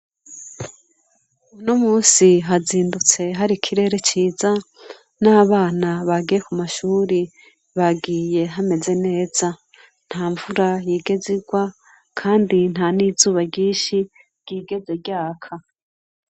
Uno munsi hazindutse hari ikirere ciza n'abana bagiye ku mashuri bagiye hameze neza nta mvura yigeze irwa kandi nta n'izuba ryishi ryigeze ryaka.